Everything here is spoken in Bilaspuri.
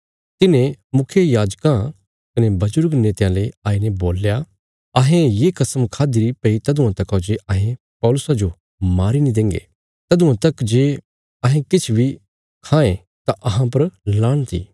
तिन्हें मुखियायाजकां कने बजुर्ग नेतयां ले आईने बोल्या अहें ये कसम खाद्दीरी भई तदुआं तका जे अहें पौलुसा जो मारी नीं देंगे तदुआं तक जे अहें किछ बी खांये तां अहां पर लाणत इ